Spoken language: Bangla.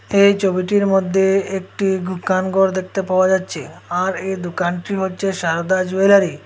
এই ছবিটির মদ্যে একটি দুকানঘর দেখতে পাওয়া যাচ্চে আর এই দুকানটি হচ্চে সারদা জুয়েলারী ।